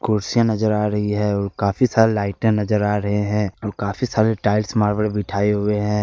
कुर्सियां नजर आ रही है और काफी सारे लाइटे नजर आ रहे हैं और काफी सारे टाइल्स मार्बल बिठाए हुए हैं।